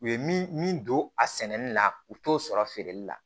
U ye min don a sɛnɛni na u t'o sɔrɔ feereli la